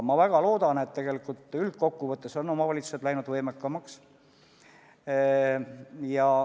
Ma väga loodan, et tegelikult üldkokkuvõttes on omavalitsused läinud võimekamaks.